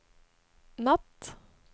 natt